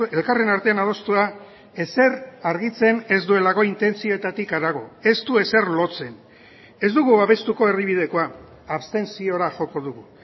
elkarren artean adostua ezer argitzen ez duelako intentzioetatik harago ez du ezer lotzen ez dugu babestuko erdibidekoa abstentziora joko dugu